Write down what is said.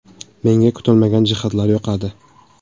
Menga kutilmagan jihatlar yoqadi.